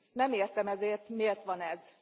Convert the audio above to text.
Nem értem ezért, miért van ez.